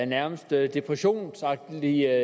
nærmest depressionsagtige